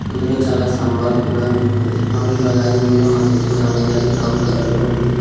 ఇందులో చాలా స్తంభాలు కూడా ఉన్నాయి మరియు అలాగే ఇందులో మట్టి కూడా ఉంది అది బ్రౌన్ కలర్ లో ఉంది.